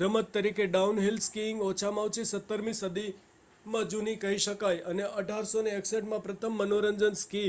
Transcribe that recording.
રમત તરીકે downhill skiing ઓછામાં ઓછી 17મી સદીમાં જૂની કહી શકાય અને 1861માં પ્રથમ મનોરંજન સ્કી